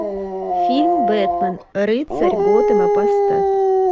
фильм бэтмен рыцарь готэма поставь